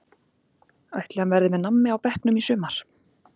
Ætli hann verði með nammi á bekknum í sumar?